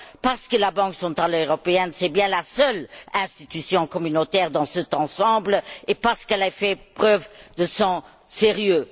Parce que la Banque centrale européenne est bien la seule institution communautaire dans cet ensemble, et parce qu'elle a fait preuve de sérieux.